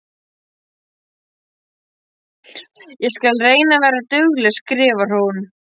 Ég skal reyna að vera dugleg, skrifar hún.